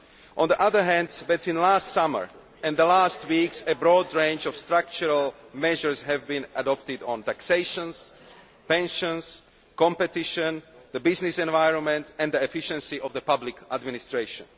On the other hand, between last summer and recent weeks, a broad range of structural measures has been adopted on taxation, pensions, competition, the business environment and the efficiency of the public administration.